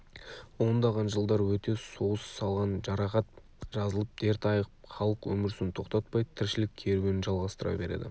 ондаған жылдар өте соғыс салған жарақат жазылып дерт айығып халық өмір сүруін тоқтатпай тіршілік керуенін жалғастыра береді